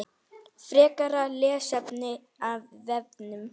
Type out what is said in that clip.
Frekara lesefni af vefnum